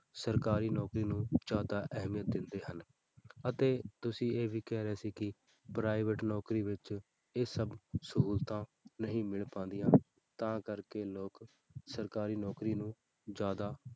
ਸਰਕਾਰੀ ਨੌਕਰੀ ਨੂੰ ਜ਼ਿਆਦਾ ਅਹਿਮੀਅਤ ਦਿੰਦੇ ਹਨ, ਅਤੇ ਤੁਸੀਂ ਇਹ ਵੀ ਕਹਿ ਰਹੇ ਸੀ ਕਿ private ਨੌਕਰੀ ਵਿੱਚ ਇਹ ਸਭ ਸਹੂਲਤਾਂ ਨਹੀਂ ਮਿਲ ਪਾਉਂਦੀਆਂ ਤਾਂ ਕਰਕੇ ਲੋਕ ਸਰਕਾਰੀ ਨੌਕਰੀ ਨੂੰ ਜ਼ਿਆਦਾ,